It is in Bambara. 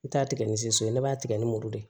N t'a tigɛ ni so so ye ne b'a tigɛ ni muru de ye